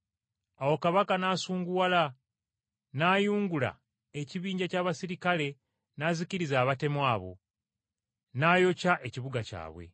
Awo Kabaka n’asunguwala, n’ayungula ekibinja ky’abaserikale n’azikiriza abatemu abo, n’ayokya ekibuga kyabwe.